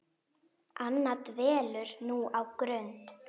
Anna dvelur nú á Grund.